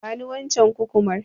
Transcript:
Bani waccen Kukumar.